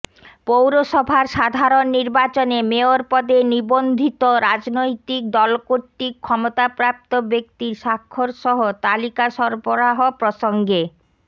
পৌরসভার সাধারণ নির্বাচনে মেয়র পদে নিবন্ধিত রাজনৈতিক দলকর্তৃক ক্ষমতাপ্রাপ্ত ব্যক্তির স্বাক্ষরসহ তালিকা সরবরাহ প্রসঙ্গে